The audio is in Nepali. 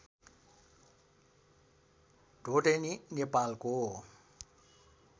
ढोडेनी नेपालको